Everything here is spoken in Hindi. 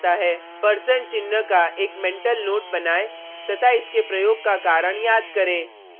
परसेंट चिन्ह का एक मेंटल नोट बनायें तथा इसके प्रयोग का कारण याद करें